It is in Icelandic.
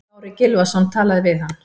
Kári Gylfason talaði við hann.